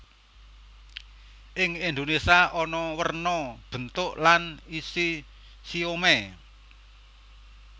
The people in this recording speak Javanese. Ing Indonésia ana werna bentuk lan isi siomai